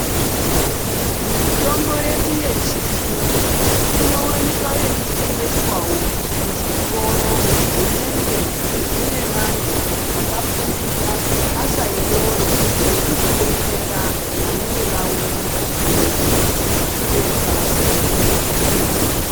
Mitombo yedu yechiyungu inowanika eitengeswawo muzvitoro zvinenge zvine vantu vakafundira basa irooro, yekuzodetsera vanenge vauya nezvipepa zvakanyorwa mitombo.